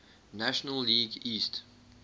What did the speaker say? national league east